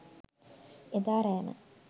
එදා රෑම